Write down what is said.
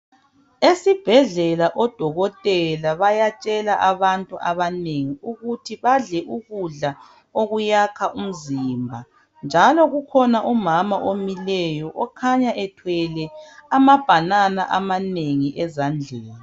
Esibhedlela odokothela ,bayatshela abantu abanengi ukuthi badle ukudla okuyakha umzimba. Njalo kukhona umama omileyo , okhanya ethwele amabhanana amanengi ezandleni.